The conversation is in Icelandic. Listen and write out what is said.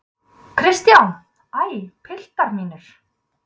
KRISTJÁN: Æ, piltar mínir!